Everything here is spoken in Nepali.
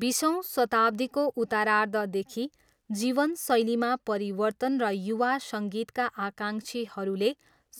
बिसौँ शताब्दीको उत्तरार्धदेखि, जीवनशैलीमा परिवर्तन र युवा सङ्गीतका आकाङ्क्षीहरूले